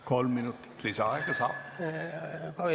Kolm minutit lisaaega saab.